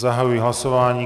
Zahajuji hlasování.